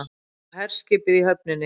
Og herskipið í höfninni.